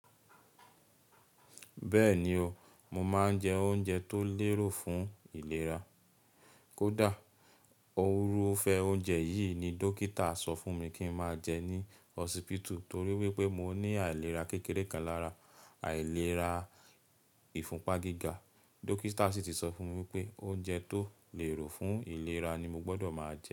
Bẹ́ẹ̀ni o, mo máa ń jẹ oúnjẹ tó lérò fún ìlera. Kódà òrufẹ́ oúnjẹ yìí ni dókítà sọ fún mi kí n máa jẹ ní hospital torí wípé mo ní àìlera kékeré kan lára àìlera ìfúnpagíga. Dókítà sì tí sọ fún mi wípé oúnjẹ tó lérò fún ìlera ni mo gbọdọ̀ máa jẹ.